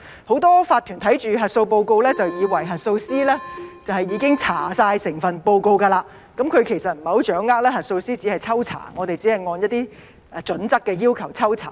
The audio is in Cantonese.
很多法團看到核數報告，就以為核數師已經查核整份報告，其實不太掌握核數師只是抽查，只是按一些準則抽查。